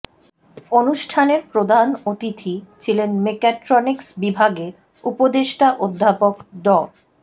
অনুষ্ঠানের প্রধান অতিথি ছিলেন মেক্যাট্রনিক্স বিভাগে উপদেষ্টা অধ্যাপক ড